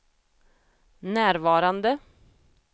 närvarande